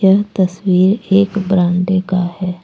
यह तस्वीर एक बरंडे का है।